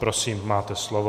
Prosím máte slovo.